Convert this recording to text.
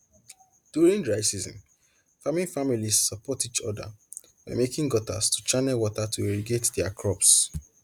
during dry season farming families support each other by making gutters to channel water to irrigate their crops